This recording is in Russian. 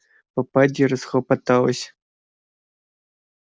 попадья расхлопоталась